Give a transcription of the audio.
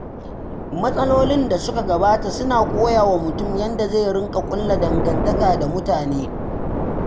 Matsalolin da suka gabata suna koya wa mutum yadda zai riƙa ƙulla dangantaka da mutane.